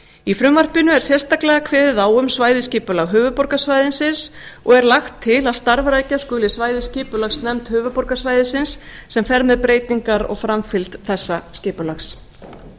í frumvarpinu er sérstaklega kveðið á um svæðisskipulag höfuðborgarsvæðisins og er lagt til að starfrækja skuli svæðisskipulagsnefnd höfuðborgarsvæðisins sem fer með breytingar og framfylgt þessa skipulags í